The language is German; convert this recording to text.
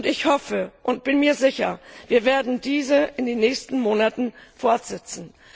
Ich hoffe und bin mir sicher, wir werden diese in den nächsten Monaten fortsetzen.